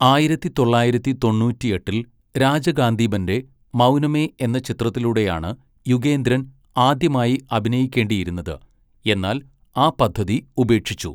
ആയിരത്തി തൊള്ളായിരത്തി തൊണ്ണൂറ്റിയെട്ടിൽ രാജകാന്തീബന്റെ 'മൗനമേ' എന്ന ചിത്രത്തിലൂടെയാണ് യുഗേന്ദ്രൻ ആദ്യമായി അഭിനയിക്കേണ്ടിയിരുന്നത്, എന്നാൽ ആ പദ്ധതി ഉപേക്ഷിച്ചു.